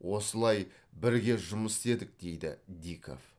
осылай бірге жұмыс істедік дейді диков